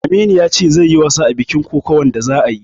Aminu ya ce zai yi wasa a bikin kokawan da za'ayi